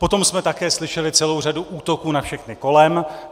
Potom jsme také slyšeli celou řadu útoků na všechny kolem.